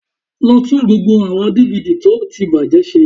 Lọ tún gbogbo àwọn DVD tó ti bàjẹ́ ṣe